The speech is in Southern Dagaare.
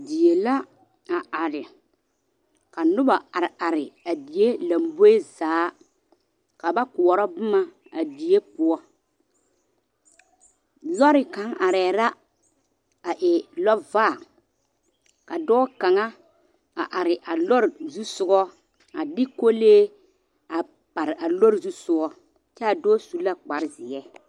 Die la a are, ka noba are are a die lamboe zaa ka ba koɔrɔ boma a die poɔ. Lɔre kaŋ arɛɛ la a e lɔvaa, ka dɔɔ kaŋa a are a lɔre zusogɔ a de kolee a pare a lɔre zusogɔ, kyɛ a dɔɔ su la kparezeɛ.